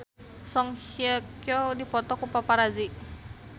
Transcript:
Song Hye Kyo dipoto ku paparazi